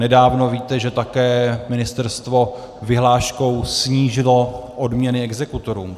Nedávno, víte, že také ministerstvo vyhláškou snížilo odměny exekutorům.